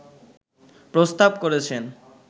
প্রস্তাব করেছেন